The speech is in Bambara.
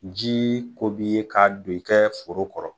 Jii ko b'i ye k'a kɛɛ foro kɔrɔ.